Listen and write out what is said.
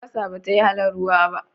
Albasa, bata yi halin ruwa ba.